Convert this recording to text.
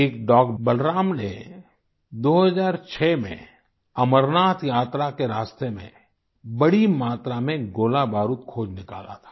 एक डॉग बलराम ने 2006 में अमरनाथ यात्रा के रास्ते में बड़ी मात्रा में गोलाबारूद खोज निकाला था